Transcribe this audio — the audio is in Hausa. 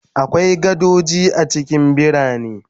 Akwai gadoji a cikin birane